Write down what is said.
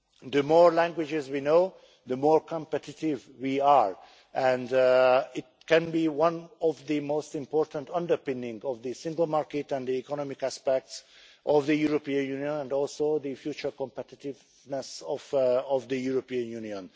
The more languages we know, the more competitive we are, and it can be one of the most important underpinning of the single market and the economic aspects of the European Union and also the future competitiveness of the European Union.